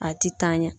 A ti taa ɲɛ